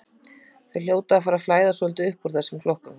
Þeir hljóta að fara að flæða svolítið núna uppúr þessum flokkum.